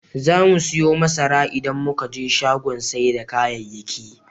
Zamu siyo masara idan muka je shagon sai da kayayyaki.